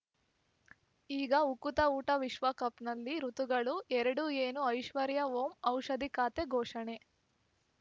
ಈಗ ಉಕುತ ಊಟ ವಿಶ್ವಕಪ್‌ನಲ್ಲಿ ಋತುಗಳು ಎರಡು ಏನು ಐಶ್ವರ್ಯಾ ಓಂ ಔಷಧಿ ಖಾತೆ ಘೋಷಣೆ